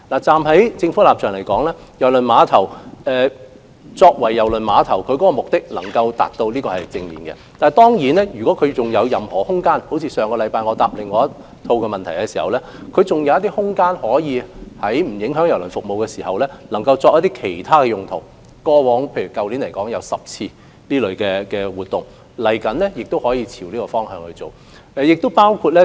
站在政府的立場來說，郵輪碼頭用作接待郵輪旅客的目的能夠達到，這是正面的；但當然，正如我上星期答覆另一項口頭質詢時所說，在不影響郵輪服務的情況下，郵輪碼頭如仍有空間，亦可作其他用途，例如去年，便有10次這類活動，日後也可朝着這方向進行。